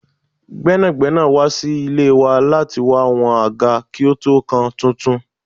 Gbẹ́nàgbẹ́nà wá sí ilé wa lati wá wọn àgá kí ó tó kan tuntun.